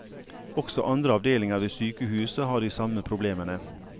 Også andre avdelinger ved sykehuset har de samme problemene.